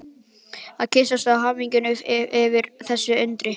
Og kyssast af hamingju yfir þessu undri.